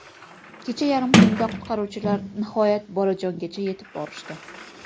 Kecha yarim tunda qutqaruvchilar nihoyat bolajongacha yetib borishdi.